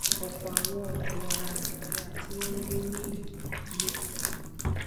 ọpọ àwọn ọdọ ará nàìjíríà tí wọn ń gbé ní ìlú ló ti